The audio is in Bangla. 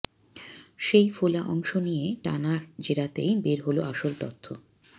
সেই ফোলা অংশ নিয়ে টানা জেরাতেই বের হল আসল তথ্য